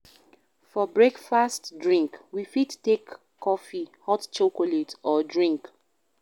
For breakfast drink, we fit take coffee, hot chocolate or tea